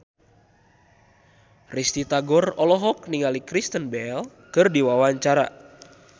Risty Tagor olohok ningali Kristen Bell keur diwawancara